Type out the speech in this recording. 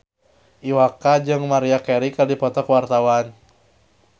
Iwa K jeung Maria Carey keur dipoto ku wartawan